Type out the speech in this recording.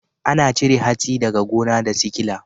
Ana cire hatsi daga gona da sikila.